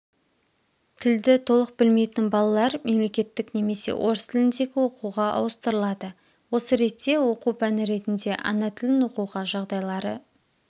тілді толық білмейтін балалар мемлекеттік немесе орыс тіліндегі оқуға ауыстырылады осы ретте оқу пәні ретінде ана тілін оқуға жағдайлары